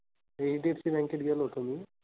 HDFCbank त गेलो होतो मी.